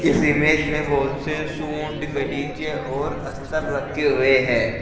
इस इमेज में बहुत से सूट गलीचे और स्तर रखे हुए है।